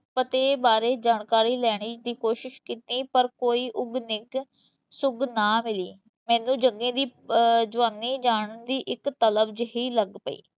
ਪਤੇ ਬਾਰੇ ਜਾਣਕਾਰੀ ਲੈਣ ਦੀ ਕੋਸ਼ਿਸ਼ ਕੀਤੀ, ਪਰ ਕੋਈ ਉੱਘ ਨਿੱਘ ਸੁੱਘ ਨਾ ਮਿਲੀ, ਮੈਨੂੰ ਜੱਗੇ ਦੀ ਅਹ ਜਵਾਨੀ ਜਾਣਨ ਦੀ ਇਕ ਤਲਬ ਜਿਹੀ ਲੱਗ ਪਈ।